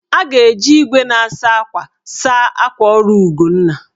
A ga-eji igwe na-asa akwa saa akwa ọrụ Ugonna